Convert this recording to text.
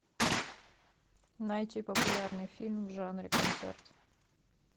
найти популярный фильм в жанре концерт